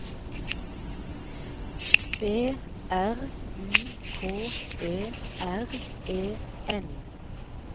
B R U K E R E N